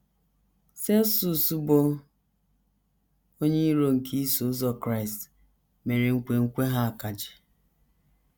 Celsus, bụ́ onye iro nke Iso Ụzọ Kraịst, mere nkwenkwe ha akaje.